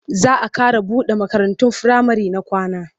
Za a ƙara buɗe makarantun firamare na kwana.